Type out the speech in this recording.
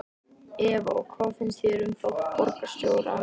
Eva: Og hvað finnst þér um þátt borgarstjórans?